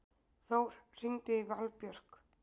Þór, hringdu í Valbjörk.